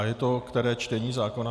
A je to které čtení zákona?